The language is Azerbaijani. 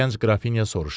Gənc Qrafinya soruşdu.